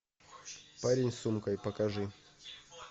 парень с сумкой покажи